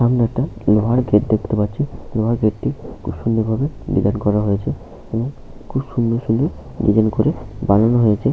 সামনে একটা লোহার গেট দেখতে পাচ্ছি। লোহার গেটটি খুব সুন্দর ভাবে ডিসাইন করা হয়েছে এবং খুব সুন্দর ডিসাইন করে বানানো হয়েছে।